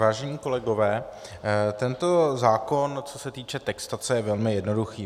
Vážení kolegové, tento zákon co se týče textace je velmi jednoduchý.